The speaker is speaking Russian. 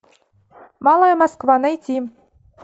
малая москва найти